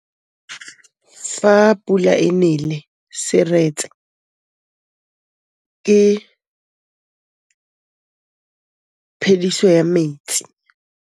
Fa pula e nelê serêtsê ke phêdisô ya metsi.